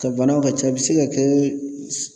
Ka banaw ka ca a bɛ se ka kɛ